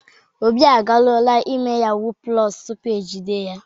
Obi agaruoola ime yahuu + tupu e jide ya.